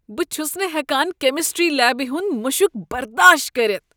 بہٕ چھس نہٕ ہیکان کیمسٹری لیبہ ہنٛد مشک برداشت کٔرتھ۔